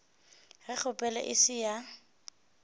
ge kgopelo e se ya